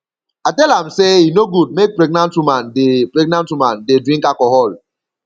i tell am sey e no good make pregnant woman dey pregnant woman dey drink alcohol